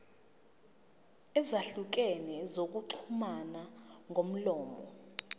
ezahlukene zokuxhumana ngomlomo